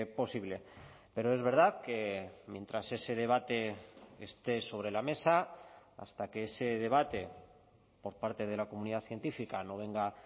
posible pero es verdad que mientras ese debate esté sobre la mesa hasta que ese debate por parte de la comunidad científica no venga